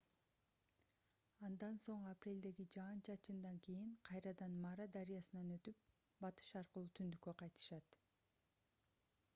андан соң апрелдеги жаан-чачындан кийин кайрадан мара дарыясынан өтүп батыш аркылуу түндүккө кайтышат